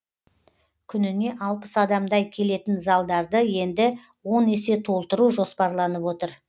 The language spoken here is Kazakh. күніне алпыс адамдай келетін залдарды енді он есе толтыру жоспарланып отыр